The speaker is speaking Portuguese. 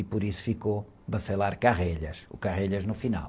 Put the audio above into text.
E por isso ficou, o no final.